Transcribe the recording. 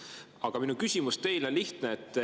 Aga minu küsimus teile on lihtne.